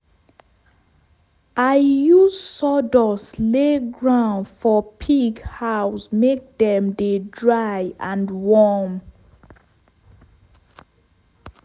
i use sawdust lay ground for pig house make dem dey dry and warm.